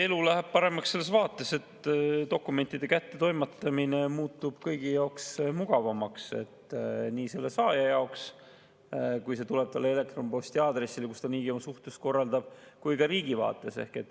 Elu läheb paremaks selles vaates, et dokumentide kättetoimetamine muutub kõigi jaoks mugavamaks – nii selle saaja jaoks, kui teade tuleb talle elektronposti aadressile, mille kaudu ta niigi oma suhtlust korraldab, kui ka riigi jaoks.